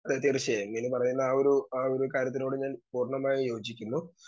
Speaker 2 Meenu പറയുന്ന ആ ഒരു ആ ഒരു കാര്യത്തിനോട് പൂർണ്ണമായി ഞാൻ യോജിക്കുന്നു.